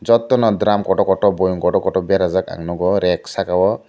jotono drum kotor kotor boiem kotor kotor berajak ang nugo reg saka o.